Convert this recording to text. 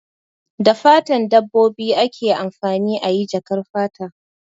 Da fatan dabbobi ake amfani ayi jakar fata